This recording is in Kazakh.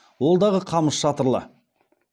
ол дағы қамыс шатырлы